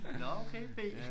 Nå okay b!